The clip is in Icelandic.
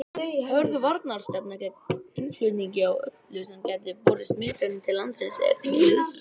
Hörð varnarstefna gegn innflutningi á öllu sem gæti borið smitefni til landsins er því nauðsynleg.